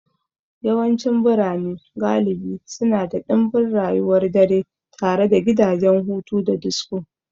Yawancin birane galibi suna da ɗimbin rayuwar dare tare da gidajen hutu da disko.